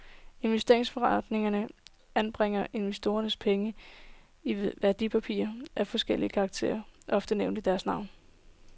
Investeringsforeningerne anbringer investorernes penge i værdipapirer af forskellig karakter, ofte nævnt i deres navn.